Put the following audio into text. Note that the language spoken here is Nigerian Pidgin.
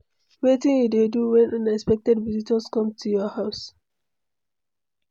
wetin you dey do when unexpected visitors come to your house?